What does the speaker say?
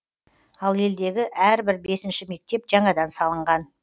ал елдегі әрбір бесінші мектеп жаңадан салынған